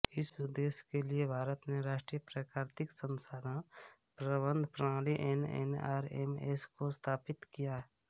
इस उद्देश्य के लिए भारत ने राष्ट्रीय प्राकृतिक संसाधन प्रबंधन प्रणाली एनएनआरएमएस को स्थापित किया